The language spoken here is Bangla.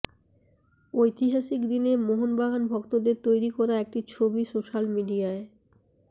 ঐতিহাসিক দিনে মোহনবাগান ভক্তদের তৈরি করা একটি ছবি সোশ্যাল মিডিয়ায়